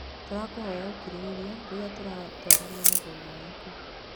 Tũragũhoya ũkirĩrĩria rĩrĩa tũratwarana na thĩna waku.